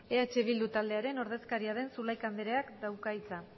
eh bildu taldearen ordezkaria den zulaika andreak dauka hitza